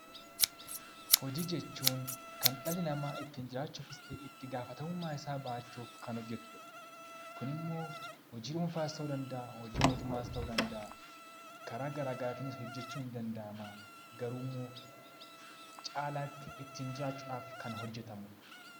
Hojii jechuun kan dhalli namaa ittiin jiraachuuf ta'ee itti gaafatamummaa isaa bahachuuf kan hojjatudha. Kunimmoo hojii dhuunfaas kan mootummaa ta'uu danda'a karaa garaagaraatiinis hojjachuun ni danda'ama. Caalaatti ittiin jiraachuuf kan hojjatamudha .